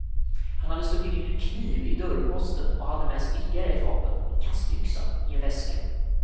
Han hade stuckit in en kniv i dörrposten och hade med sig ytterligare ett vapen, en kastyxa, i en väska.